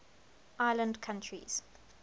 island countries